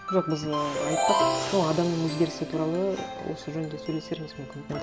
жоқ біз і айттық сол адамның өзгерісі туралы осы жөнінде сөйлесерміз мүмкін